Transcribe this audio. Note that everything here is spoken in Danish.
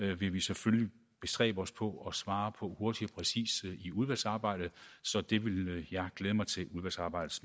vil vi selvfølgelig bestræbe os på at svare på hurtigt og præcist i udvalgsarbejdet så det vil jeg glæde mig til